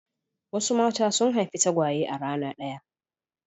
Wasu mata sun haifi tagwaye a rana ɗaya.